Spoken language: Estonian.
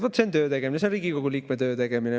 Vot see on töö tegemine, see on Riigikogu liikme töö tegemine.